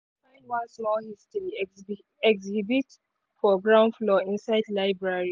one small history exhibit for ground floor inside library.